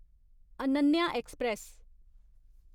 Ananya express